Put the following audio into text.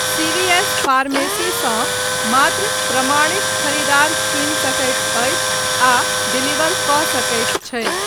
CVS फार्मेसीसँ मात्र प्रमाणित खरीदार चुनि सकैत अछि आ डिलीवर कऽ सकैत छै।